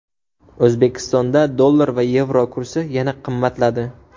O‘zbekistonda dollar va yevro kursi yana qimmatladi.